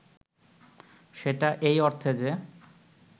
সেটা এই অর্থে যে